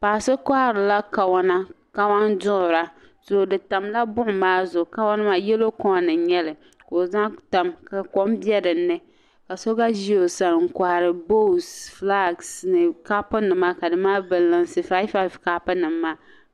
Paɣa so kohiri la kawana kawanduɣira. di tamla buɣum maa zuɣu, ka wa amaa. yelɔw kon n nyɛli ka ɔ zaŋ tam ka kom be dini ka so gba ʒi ɔ sani n kohiri boosi flag nima ni kopu nima ka di mali bin lunsi, 55kopu nim maa,